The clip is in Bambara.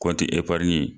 Kɔnti eparni